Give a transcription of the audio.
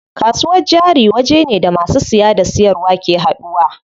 Kasuwar jari wajene da masu siya da siyarwa ke haduwa.